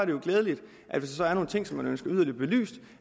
jo glædeligt at hvis der er nogle ting som man ønsker yderligere belyst